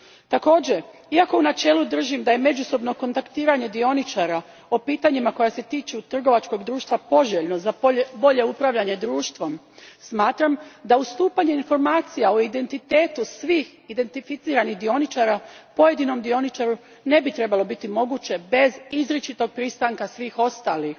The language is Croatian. Također, iako u načelu držim da je međusobno kontaktiranje dioničara o pitanjima koja se tiču trgovačkog društva poželjno za bolje upravljanje društvom, smatram da ustupanje informacija o identitetu svih identificiranih dioničara pojedinom dioničaru ne bi trebalo biti moguće bez izričitog pristanka svih ostalih.